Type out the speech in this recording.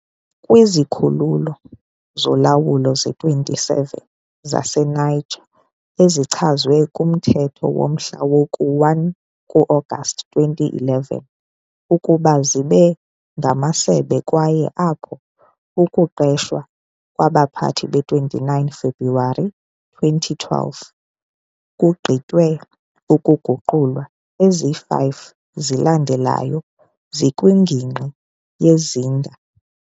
Kwizikhululo zolawulo ze-27 zaseNiger ezichazwe kumthetho womhla woku-1 ku-Agasti 2011 ukuba zibe ngamasebe kwaye apho ukuqeshwa kwabaphathi be-29 February 2012 kugqitywe ukuguqulwa, ezi 5 zilandelayo zikwingingqi yeZinder.